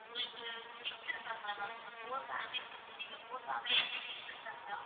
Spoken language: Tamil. உங்களுக்கு kids இருக்காங்களா ma'am four families னு சொன்னீங்க four families லயுமே kids இருக்காங்களா?